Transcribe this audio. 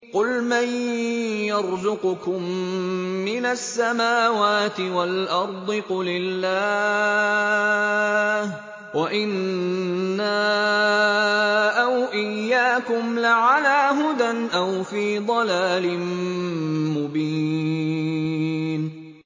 ۞ قُلْ مَن يَرْزُقُكُم مِّنَ السَّمَاوَاتِ وَالْأَرْضِ ۖ قُلِ اللَّهُ ۖ وَإِنَّا أَوْ إِيَّاكُمْ لَعَلَىٰ هُدًى أَوْ فِي ضَلَالٍ مُّبِينٍ